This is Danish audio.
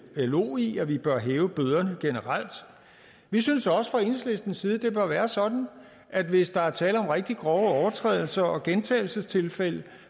lo i at vi bør hæve bøderne generelt vi synes også fra enhedslistens side at det bør være sådan at hvis der er tale om rigtig grove overtrædelser og gentagelsestilfælde